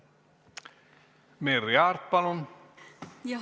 Merry Aart, palun!